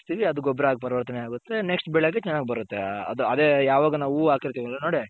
ಆ ಹಾಕ್ಸ್ತಿವಿ ಅದು ಗೊಬ್ಬರ ಹಾಗ್ ಪರಿವರ್ತನೆ ಆಗುತ್ತೆ Next ಬೆಳೆಗೆ ಚೆನ್ನಾಗ್ ಬರುತ್ತೆ ಅದೆ ಯಾವಾಗ ನಾವು ಹೂ ಹಾಕಿರ್ತಿವಲ್ಲ ನೋಡಿ.